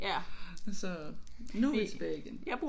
Nu er vi tilbage igen